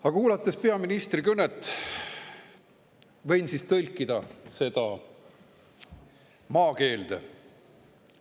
Aga ma kuulasin peaministri kõnet ja võin seda tõlkida maakeelde.